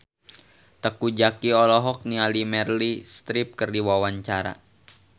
Teuku Zacky olohok ningali Meryl Streep keur diwawancara